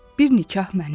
bir nikah mənim.